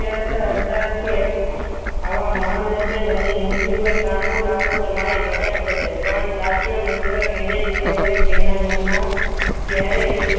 હતા કે આવા મહાન રાજાને હું મુઠ્ઠીભર તાંબુ લાવ તો મારી મજાક થશે પણ સાચે મિત્ર એને જ કહેવાય જેના મનમાં ક્યારેક